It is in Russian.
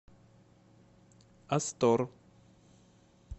астор